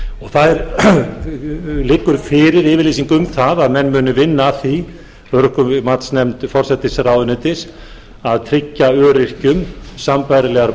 það liggur fyrir yfirlýsing um það að menn muni vinna að því matsnefnd forsætisráðuneytis að tryggja öryrkjum sambærilegar